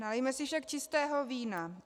Nalijme si však čistého vína.